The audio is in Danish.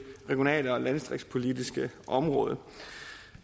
regionale og landdistriktspolitiske område